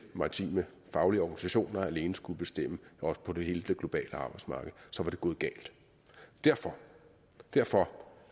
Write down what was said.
maritime faglige organisationer alene skulle bestemme også på hele det globale arbejdsmarked så var det gået galt derfor derfor